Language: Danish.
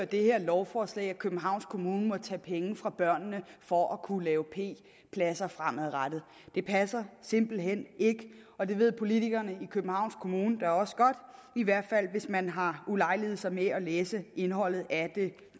det her lovforslag medfører at københavns kommune må tage penge fra børnene for at kunne lave p pladser fremadrettet det passer simpelt hen ikke og det ved politikerne i københavns kommune da også godt i hvert fald hvis man har ulejliget sig med at læse indholdet af det